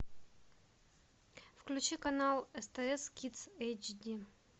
включи канал стс кидс эйч ди